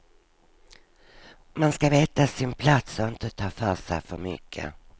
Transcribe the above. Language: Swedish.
Man ska veta sin plats och inte ta för sig för mycket.